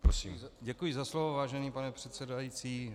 Děkuji za slovo, vážený pane předsedající.